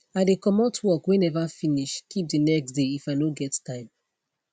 i de comot work wey never finish keep de next dey if i no get time